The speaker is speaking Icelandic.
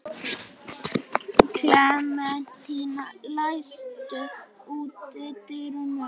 Klementína, læstu útidyrunum.